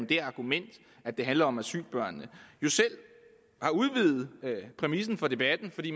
det argument at det handler om asylbørn jo selv har udvidet præmissen for debatten fordi